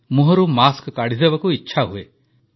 ମୁହଁରୁ ମାସ୍କ କାଢ଼ିଦେବାକୁ ଇଚ୍ଛାହୁଏ